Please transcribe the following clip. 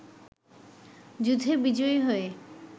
যুদ্ধে বিজয়ী হয়ে